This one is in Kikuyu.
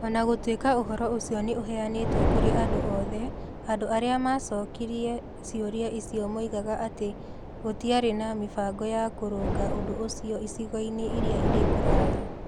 O na gũtuĩka ũhoro ũcio nĩ ũheanĩtwo kũrĩ andũ othe, andũ arĩa maacokirie ciũria icio moigaga atĩ gũtiarĩ na mĩbango ya kũrũnga ũndũ ũcio icigo-inĩ iria irĩ kũraya.